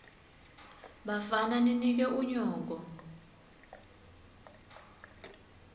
bafana ninike unyoko